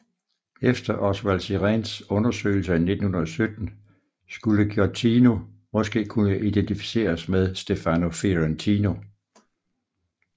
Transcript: Efter Osvald Siréns undersøgelser i 1917 skulle Giottino måske kunne identificeres med Stefano Fiorentino